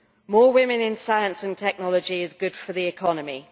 More women in science and technology is good for the economy.